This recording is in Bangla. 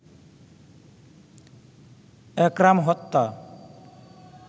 একরাম হত্যা